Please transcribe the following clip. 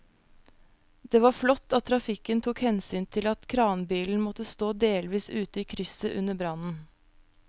Det var flott at trafikken tok hensyn til at kranbilen måtte stå delvis ute i krysset under brannen.